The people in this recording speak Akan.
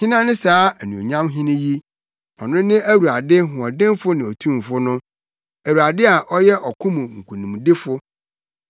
Hena ne saa Anuonyam Hene yi? Ɔno ne Awurade hoɔdenfo ne otumfo no Awurade a ɔyɛ ɔko mu nkonimdifo.